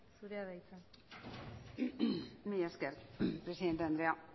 zurea da hitza mila esker presidente andrea